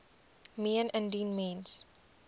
meen indien mens